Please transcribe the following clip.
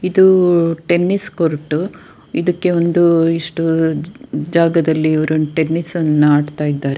ಇದು ಅಹ್ tennis court ಇದಕ್ಕೆ ಒಂದು ಇಷ್ಟು ಜಾಗದಲಿ ಇವ್ರು ಟೆನ್ನಿಸ್ ಅನ್ನ ಆಡ್ತಾ ಇದಾರೆ.